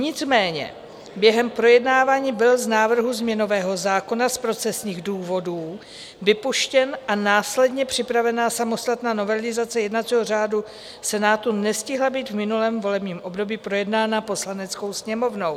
Nicméně během projednávání byl z návrhu změnového zákona z procesních důvodů vypuštěn a následně připravená samostatná novelizace jednacího řádu Senátu nestihla být v minulém volebním období projednána Poslaneckou sněmovnou.